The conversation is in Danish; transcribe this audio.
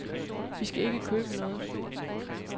Vi skal ikke købe noget.